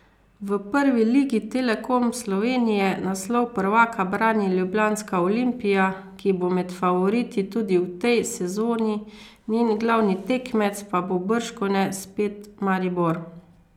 V Prvi ligi Telekom Slovenije naslov prvaka brani ljubljanska Olimpija, ki bo med favoriti tudi v tej sezoni, njen glavni tekmec pa bo bržkone spet Maribor.